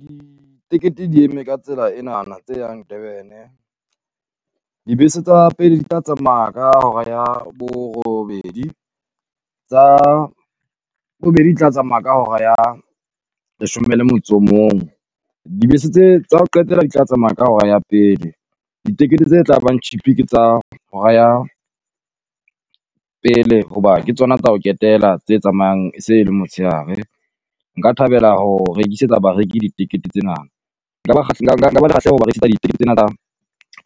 Ditekete di eme ka tsela enana tse yang Durban-e. Dibese tsa pele di tla tsamaya ka hora ya borobedi, tsa bobedi di tla tsamaya ka hora ya leshome le motso o mong. Dibese tse tsa ho qetela di tla tsamaya ka hora ya pele, ditekete tse tla bang cheap ke tsa hora ya pele hoba ke tsona tsa ho ketela tse tsamayang e se e le motshehare. Nka thabela ho rekisetsa bareki ditekete tsena, nka ba le kgahleho ho ba tsena tsa